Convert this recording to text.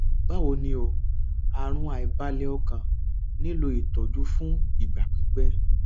báwo ni o àrùn àìbalẹ ọkàn nílò ìtọjú fún ìgbà pípẹ